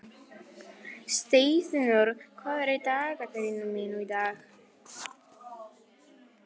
Steinfinnur, hvað er í dagatalinu mínu í dag?